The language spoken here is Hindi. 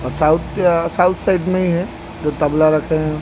ओर साउथ साउथ साइड मे ही है जो तबला रखे है।